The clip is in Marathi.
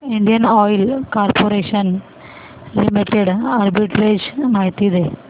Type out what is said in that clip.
Indian oil corporation limited arbitrage माहिती दे